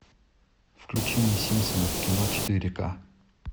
включи мне симпсоны в кино четыре ка